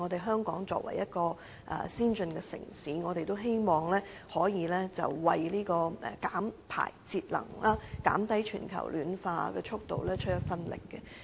香港作為先進城市，也希望可以為減排節能、減慢全球暖化出一分力。